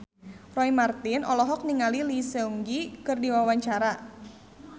Roy Marten olohok ningali Lee Seung Gi keur diwawancara